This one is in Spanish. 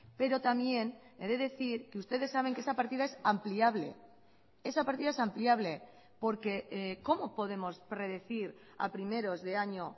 pero también he de decir que ustedes saben que esa partida es ampliable esa partida es ampliable porque cómo podemos predecir a primeros de año